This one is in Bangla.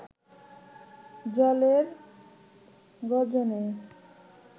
জলের গর্জনে